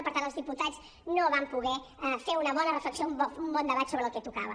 per tant els diputats no vam poder fer una bona reflexió un bon debat sobre el que tocava